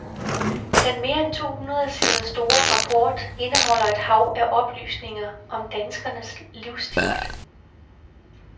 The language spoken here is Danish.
Den mere end to hundrede sider store rapport indeholder et hav af oplysninger om danskernes livsstil.